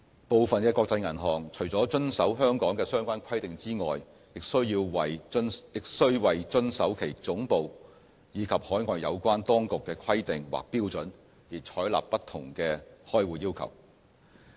部分國際銀行除了遵守香港的相關規定之外，也須為遵守其總部，以及海外有關當局的規定或標準而採納不同的開戶要求。